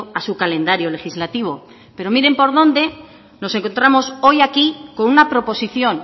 a su calendario legislativo pero miren por dónde nos encontramos hoy aquí con una proposición